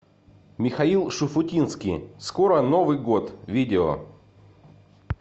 михаил шуфутинский скоро новый год видео